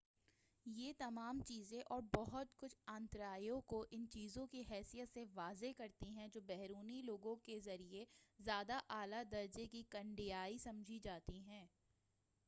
یہ تمام چیزیں اور بہت کچھ آنترایو کو ان چیزوں کی حیثیت سے واضح کرتی ہیں جو بیرونی لوگوں کے ذریعے زیادہ اعلی درجے کی کناڈیائی سمجھی جاتی ہے